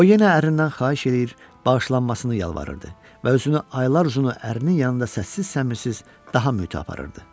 O yenə ərindən xahiş eləyir, bağışlanmasını yalvarırdı və özünü aylardır uzunu ərinin yanında səssiz-səmisiz daha mötəbir aparırdı.